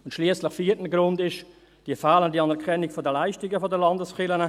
Der vierte Grund schliesslich ist die fehlende Anerkennung der Leistungen der Landeskirchen.